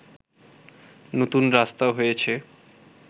নতুন রাস্তা হয়েছে